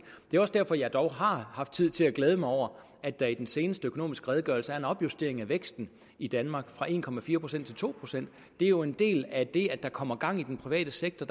det er også derfor jeg dog har haft tid til at glæde mig over at der i den seneste økonomiske redegørelse er en opjustering af væksten i danmark fra en procent til to procent det er jo en del af det at der kommer gang i den private sektor